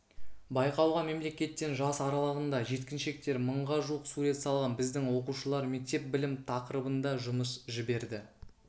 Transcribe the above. байқауға мемлекеттен жас аралығындағы жеткіншектер мыңға жуық сурет салған біздің оқушылар мектеп білім тақырыбында жұмыс жіберді